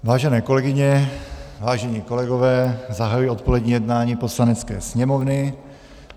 Vážené kolegyně, vážení kolegové, zahajuji odpolední jednání Poslanecké sněmovny.